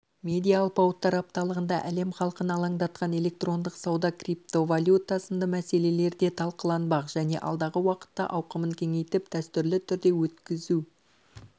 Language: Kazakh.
медиа алпауыттар апталығында әлем халқын алаңдатқан электрондық сауда криптовалюта сынды мәселелер де талқыланбақ және алдағы уақытта ауқымын кеңейтіп дәстүрлі түрде өткізу